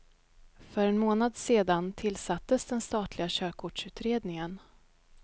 För en månad sedan tillsattes den statliga körkortsutredningen.